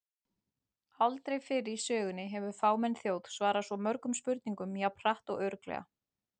Aldrei fyrr í sögunni hefur fámenn þjóð svarað svo mörgum spurningum jafn hratt og örugglega!